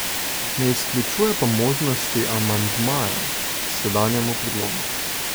Ne izključuje pa možnosti amandmajev k sedanjemu predlogu.